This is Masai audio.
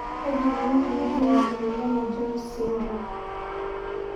Kaji eikoni tenejungi emoyian e jones syndrome?